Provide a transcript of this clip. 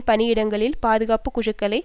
பணியிடங்களில் பாதுகாப்பு குழுக்களை